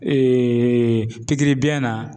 pikiri biɲɛ na